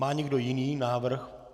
Má někdo jiný návrh?